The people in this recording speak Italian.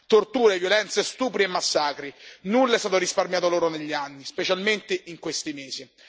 Torture, violenze, stupri e massacri nulla è stato risparmiato loro negli anni, specialmente in questi mesi.